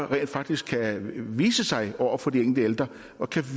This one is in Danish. rent faktisk kan vise sig over for de ældre og kan